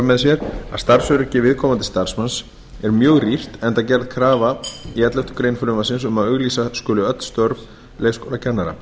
með sér að starfsöryggi viðkomandi starfsmanns er mjög rýrt enda gerð krafa í elleftu greinar frumvarpsins um að auglýsa skuli öll störf leikskólakennara